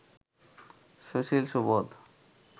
Sushil Subodh